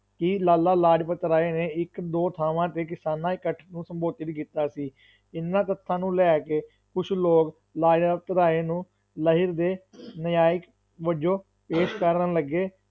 ਕਿ ਲਾਲਾ ਲਾਜਪਤ ਰਾਏ ਨੇ ਇੱਕ ਦੋ ਥਾਵਾਂ ਤੇ ਕਿਸਾਨਾਂ ਇਕੱਠ ਨੂੰ ਸੰਬੋਧਿਤ ਕੀਤਾ ਸੀ, ਇਹਨਾਂ ਤੱਥਾਂ ਨੂੂੰ ਲੈ ਕੇ ਕੁਛ ਲੋਗ ਲਾਜਪਤ ਰਾਏ ਨੂੰ ਲਹਿਰ ਦੇ ਨਾਜਾਇਕ ਵਜੋਂ ਪੇਸ਼ ਕਰਨ ਲੱਗੇ।